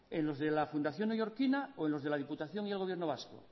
en los de la fundación neoyorquina o en los de la diputación y el gobierno vasco